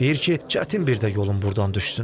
Deyir ki, çətin bir də yolum burdan düşsün.